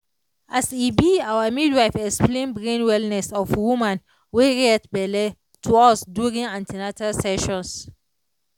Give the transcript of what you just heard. as e be our midwife explain brain wellness of woman wey get belle to us during an ten atal sessions